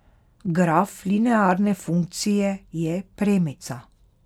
Graf linearne funkcije je premica.